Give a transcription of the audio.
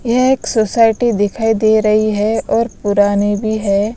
ये एक सोसाइटी दिखाई दे रही है और पुरानी भी है।